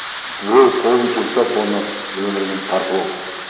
біреу қолын жұмсап оның өмірін тартып алды